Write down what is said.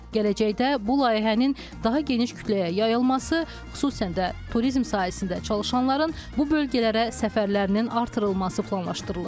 Gələcəkdə bu layihənin daha geniş kütləyə yayılması, xüsüsən də turizm sahəsində çalışanların bu bölgələrə səfərlərinin artırılması planlaşdırılır.